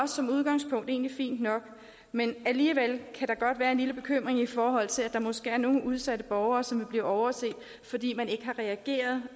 som udgangspunkt egentlig også fint nok men alligevel kan der godt være en lille bekymring i forhold til at der måske er nogle udsatte borgere som vil blive overset fordi man ikke har reageret